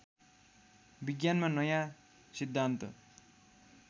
विज्ञानमा नयाँ सिद्धान्त